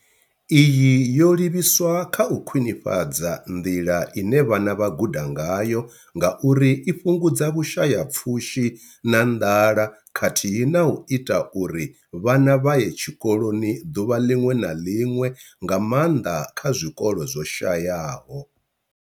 Iyi yo livhiswa kha u khwinifhadza nḓila ine vhana vha guda ngayo ngauri i fhungudza Vhusha ya pfushi na nḓala khathihi na u ita uri vhana vha ye tshikoloni ḓuvha ḽiṅwe na ḽiṅwe, nga maanḓa kha zwikolo zwo shayaho.